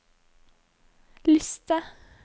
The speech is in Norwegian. liste